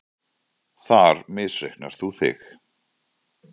Þar misreiknar þú þig.